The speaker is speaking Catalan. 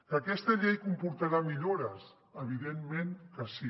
que aquesta llei comportarà millores evidentment que sí